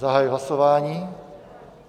Zahajuji hlasování.